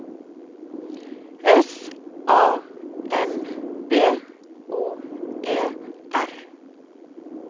S A M B O E R